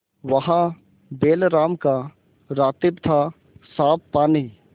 वहाँ बैलराम का रातिब थासाफ पानी